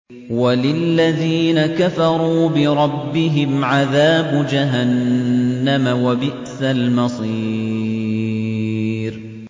وَلِلَّذِينَ كَفَرُوا بِرَبِّهِمْ عَذَابُ جَهَنَّمَ ۖ وَبِئْسَ الْمَصِيرُ